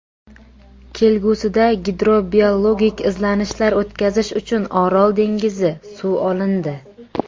Kelgusida gidrobiologik izlanishlar o‘tkazish uchun Orol dengizi suvi olindi.